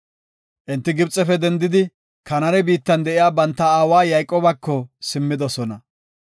Enti Gibxefe dendidi, Kanaane biittan de7iya banta aawa Yayqoobako simmidosona.